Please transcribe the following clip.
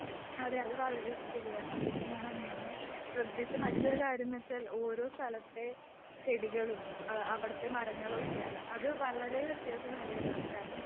അതെ അത് വളരെ ശരിയാണ് പിന്നെ ഞാൻ അങ്ങനെ ശ്രെധിച്ച മറ്റൊരു കാര്യന്നുവെച്ചാൽ ഓരോ സ്ഥലത്തെ ചെടികളും മരങ്ങളൊക്കെയാണ്. അത് വളരെ വത്യാസം ഏറിയതാണ് കാരണം